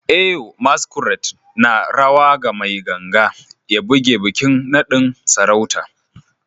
Eyo masquerade na rawa ga mai ganga ya buge bikin nadin sarauta